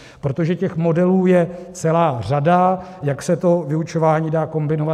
Protože těch modelů je celá řada, jak se to vyučování dá kombinovat.